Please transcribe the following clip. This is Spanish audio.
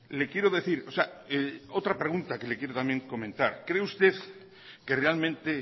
le quiero decir o sea otra pregunta que le quiero también comentar cree usted que realmente